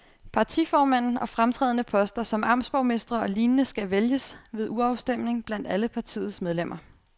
Partiformanden og fremtrædende poster som amtsborgmestre og lignende skal vælges ved urafstemning blandt alle partiets medlemmer.